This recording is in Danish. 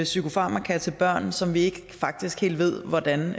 psykofarmaka til børn som vi faktisk ikke helt ved hvordan